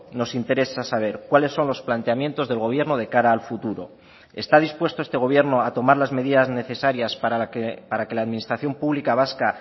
nos interesa saber cuáles son los planteamientos del gobierno de cara al futuro está dispuesto este gobierno a tomar las medidas necesarias para que la administración pública vasca